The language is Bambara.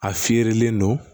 A fiyɛlen don